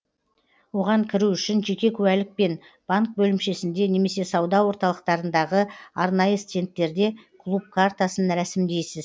оған кіру үшін жеке куәлікпен банк бөлімшесінде немесе сауда орталықтарындағы арнайы стендтерде клуб картасын рәсімдейсіз